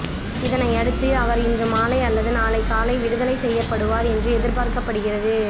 இதனையடுத்து அவர் இன்று மாலை அல்லது நாளை காலை விடுதலை செய்யப்படுவார் என்று எதிர்பார்க்கப்படுகிறது